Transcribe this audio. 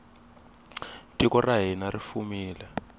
tiko ra hina ri fumile